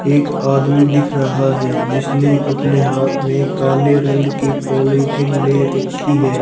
एक आदमी दिख रहा है जिसने अपने हाथ में काले रंग की पोलिथीन ले रखी है।